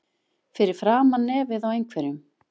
Fyrir framan nefið á einhverjum